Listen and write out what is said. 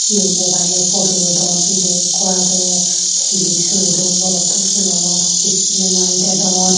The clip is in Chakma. Iyot mobile loi phodu lodon milay ikko age hilip soray don morotto sulanot spray Mari dedon.